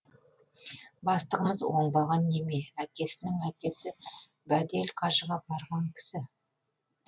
бастығымыз оңбаған неме әкесінің әкесі бәдел қажыға барған кісі